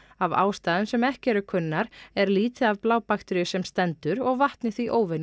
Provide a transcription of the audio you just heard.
af ástæðum sem ekki eru kunnar er lítið af sem stendur og vatnið því